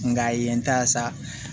Nka a ye n ta sa